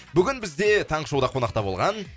бүгін бізде таңғы шоуда қонақта болған